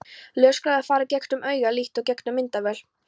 Ljósgeislar fara gegnum augað líkt og gegnum myndavél.